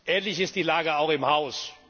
Ähnlich ist die Lage auch im Haus.